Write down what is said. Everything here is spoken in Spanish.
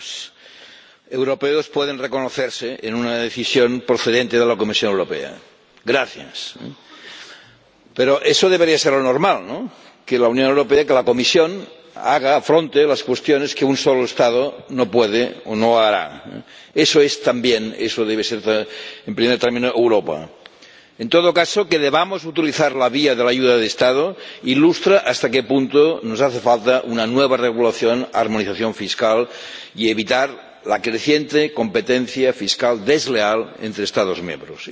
Señora Presidenta. Por fin, señora Vestager, los ciudadanos europeos pueden reconocerse en una decisión procedente de la Comisión Europea. ¡Gracias! Pero eso debería ser lo normal, ¿no? Que la Unión Europea, que la Comisión, haga, afronte, las cuestiones que un solo Estado no puede o no hará. Eso es, también —eso debe ser—, en primer término, Europa. En todo caso, que debamos utilizar la vía de la ayuda de Estado ilustra hasta qué punto nos hace falta una nueva regulación, una armonización fiscal y evitar la creciente competencia fiscal desleal entre Estados miembros.